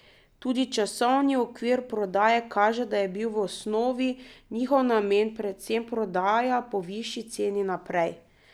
Tudi časovni okvir prodaje kaže, da je bil v osnovi njihov namen predvsem prodaja po višji ceni naprej.